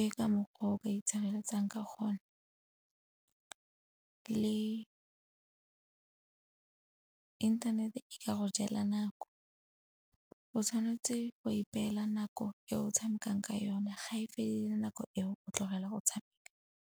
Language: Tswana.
E ka mokgwa o ka itshireletsang ka gona le inthanete e ka go jela nako. O tshwanetse wa ipela nako e o tshamekang ka yone, ga e fedile nako eo o tlogela go tshameka.